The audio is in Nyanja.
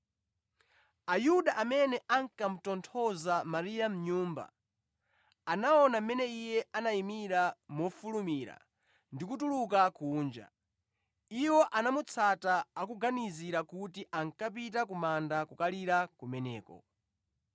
Ayuda amene ankamutonthoza Mariya mʼnyumba, anaona mmene iye anayimira mofulumira ndi kutuluka kunja, iwo anamutsata akuganizira kuti ankapita ku manda kukalirira kumeneko.